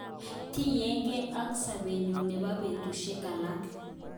Tinyege ak sobeyun nebo betushek alak.